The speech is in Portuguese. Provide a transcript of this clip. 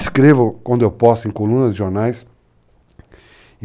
Escrevo quando eu posso em colunas de jornais.